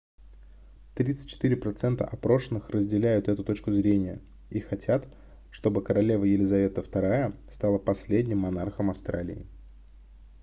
34% опрошенных разделяют эту точку зрения и хотят чтобы королева елизавета ii стала последним монархом австралии